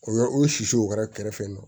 O yɔrɔ o sisiw o kɛra kɛrɛfɛ